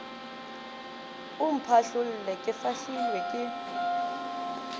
o mphahlolle ke fahlilwe ke